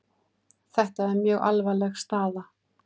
Þetta er mjög alvarleg staða